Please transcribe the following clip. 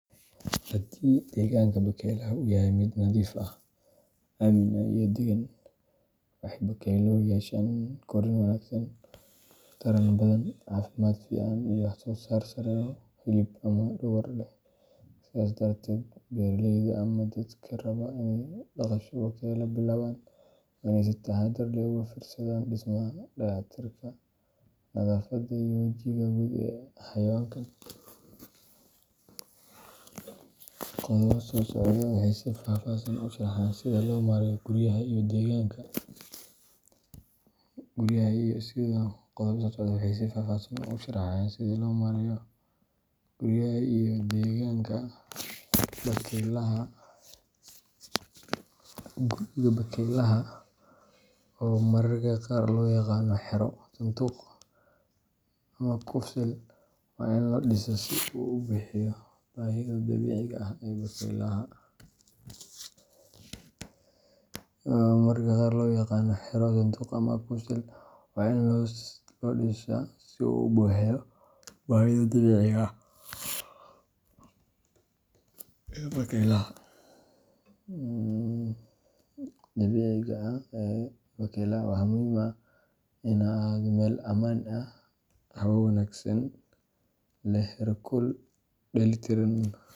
Haddii deegaanka bakaylaha uu yahay mid nadiif ah, aamin ah, iyo deggan, waxay bakayluhu yeeshaan korriin wanaagsan, taran badan, caafimaad fiican, iyo wax-soo-saar sare oo hilib ama dhogor leh. Sidaas darteed, beeraleyda ama dadka raba inay dhaqasho bakayle bilaabaan waa in ay si taxaddar leh uga fiirsadaan dhismaha, dayactirka, nadaafadda, iyo jawiga guud ee xayawaankan. Qodobada soo socda waxay si faahfaahsan u sharxayaan sida loo maareeyo guryaha iyo deegaanka bakaylaha: Guriga bakaylaha, oo mararka qaar loo yaqaan xero, sanduuq, ama kufsil, waa in loo dhisaa si uu u buuxiyo baahida dabiiciga ah ee bakaylaha. Waxaa muhiim ah in uu ahaado meel ammaan ah, hawo wanaagsan leh, heerkul dheellitiran.